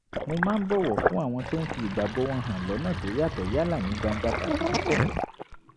mo máa ń bọ̀wọ̀ fún àwọn tó ń fi ìgbàgbọ́ wọn hàn lọ́nà tó yàtọ̀ yálà ní gbangba tàbí níkọ̀kọ̀